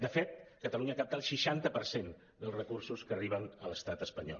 de fet catalunya capta el seixanta per cent dels recursos que arriben a l’estat espanyol